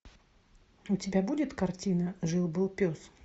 у тебя будет картина жил был пес